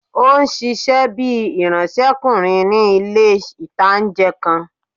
Ó n ṣiṣẹ́ bíi ìránsẹ́kùnrin ní ilé-ìtánjẹ kan